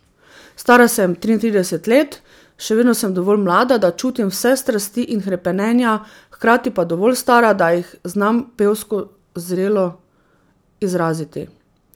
Stara sem triintrideset let, še vedno sem dovolj mlada, da čutim vse strasti in hrepenenja, hkrati pa dovolj stara, da jih znam pevsko zrelo izraziti.